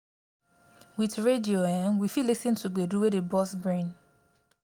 with radio um we fit lis ten to gbedu wey dey burst brain